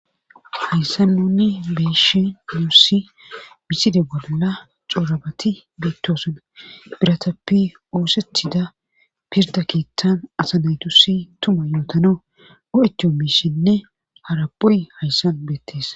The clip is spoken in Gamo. hayssan nuni beeshi miyussi miside bolla xoorabati beetosona biratappi oosethida pirda kiittan asa naytusi tuma yootano o7etiyo miishinne haraphoy hayssan beettes.